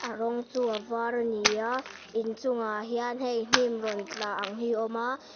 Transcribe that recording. a rawng chu a var a ni a in chung ah hian hei hnim rawn tla ang hi a awm a.